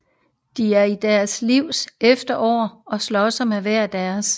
De er i deres livs efterår og slås med hver deres